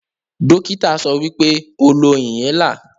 Dokita sowipe, "o lo inhaler"